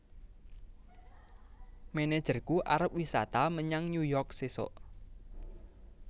Manajerku arep wisata menyang New York sesok